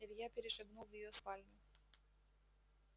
илья перешагнул в её спальню